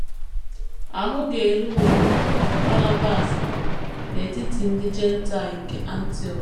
Ahụ ga - eruworị Banabas ala n’etiti ndị Jentaịl nke Antiọk.